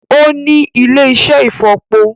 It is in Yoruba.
Ó ní ilé-iṣẹ́ ìfọ̀po